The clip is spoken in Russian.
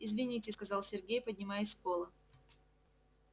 извините сказал сергей поднимаясь с пола